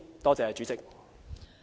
多謝代理主席。